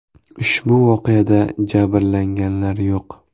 Ushbu voqeada jabrlanganlar yo‘q.